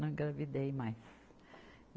Não engravidei mais.